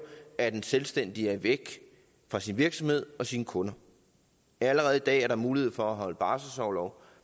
er at en selvstændig er væk fra sin virksomhed og sine kunder allerede i dag er der mulighed for at holde barselsorlov